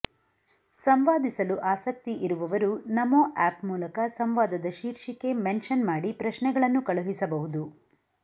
ಸಂವಾದಿಸಲು ಆಸಕ್ತಿ ಇರುವವರು ನಮೋ ಆ್ಯಪ್ ಮೂಲಕ ಸಂವಾದದ ಶೀರ್ಷಿಕೆ ಮೆನ್ಷನ್ ಮಾಡಿ ಪ್ರಶ್ನೆಗಳನ್ನು ಕಳುಹಿಸಬಹುದು